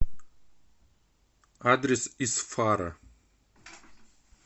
адрес исфара